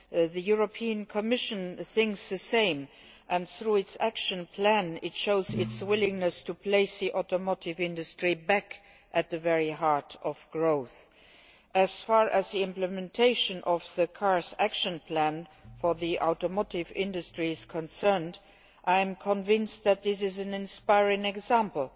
The European Commission thinks the same and, through its action plan, it shows its willingness to place the automotive industry back at the very heart of growth. As far as the implementation of the CARS action plan for the automotive industry is concerned, I am convinced that this is an inspiring example.